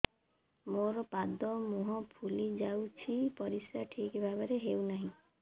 ମୋର ପାଦ ମୁହଁ ଫୁଲି ଯାଉଛି ପରିସ୍ରା ଠିକ୍ ଭାବରେ ହେଉନାହିଁ